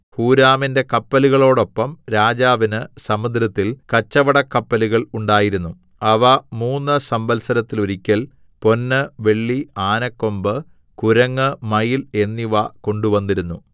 ഹൂരാമിന്റെ കപ്പലുകളോടൊപ്പം രാജാവിന് സമുദ്രത്തിൽ കച്ചവടക്കപ്പലുകൾ ഉണ്ടായിരുന്നു അവ മൂന്ന് സംവത്സരത്തിൽ ഒരിക്കൽ പൊന്ന് വെള്ളി ആനക്കൊമ്പ് കുരങ്ങ് മയിൽ എന്നിവ കൊണ്ടുവന്നിരുന്നു